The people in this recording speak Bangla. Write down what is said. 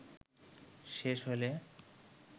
শেষ হলে